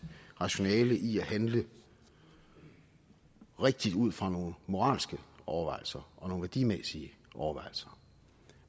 rationale i at handle rigtigt ud fra nogle moralske overvejelser og nogle værdimæssige overvejelser